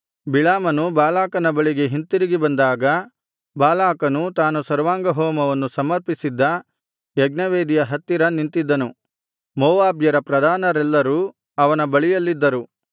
ಬಿಳಾಮನು ಬಾಲಾಕನ ಬಳಿಗೆ ಹಿಂತಿರುಗಿ ಬಂದಾಗ ಬಾಲಾಕನು ತಾನು ಸರ್ವಾಂಗಹೋಮವನ್ನು ಸಮರ್ಪಿಸಿದ್ದ ಯಜ್ಞವೇದಿಯ ಹತ್ತಿರ ನಿಂತಿದ್ದನು ಮೋವಾಬ್ಯರ ಪ್ರಧಾನರೆಲ್ಲರೂ ಅವನ ಬಳಿಯಲ್ಲಿದ್ದರು